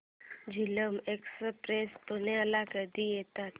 Jhelum express पुण्याला कधी येते